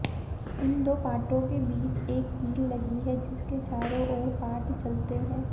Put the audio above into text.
इन दो पाटों के बीच एक कील लगी है जिसके चारों ओर पाट चलते हैं